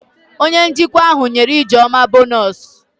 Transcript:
Onye njikwa ahụ nyere ijeoma bonọs